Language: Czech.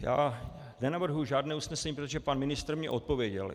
Já nenavrhuji žádné usnesení, protože pan ministr mi odpověděl.